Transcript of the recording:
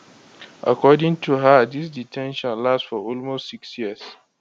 according to her dis de ten tion last for almost six years